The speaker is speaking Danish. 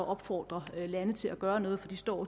opfordre lande til at gøre noget for de står